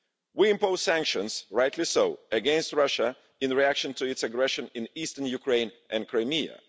We imposed sanctions rightly so against Russia in reaction to its aggression in eastern Ukraine and Crimea.